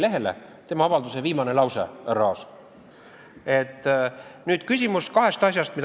See on tema avalduse viimane lause, härra Aas.